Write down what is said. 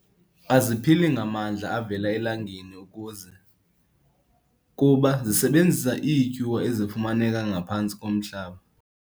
Aziphili ngamandla avela elangeni ukuze, kuba zisebenzisa iityuwa ezifumaneka ngaphantsi komhlaba.